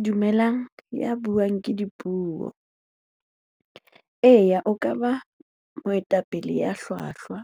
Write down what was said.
Dumelang, ya buang ke Dipuo. Eya, o ka ba moetapele ya hlwahlwa